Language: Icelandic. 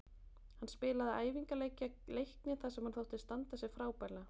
Hann spilaði æfingaleik gegn Leikni þar sem hann þótti standa sig frábærlega.